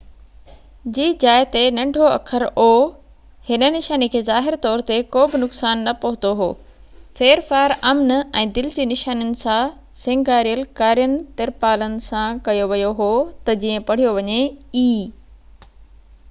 هن نشاني کي ظاهري طور تي ڪو به نقصان نہ پهتو هو ڦيرڦار امن ۽ دل جي نشانين سان سينگاريل ڪارين ترپالن سان ڪيو ويو هو تہ جيئن o جي جاءِ تي ننڍو اکر e پڙهيو وڃي